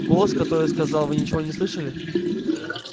голос который сказал вы ничего не слышали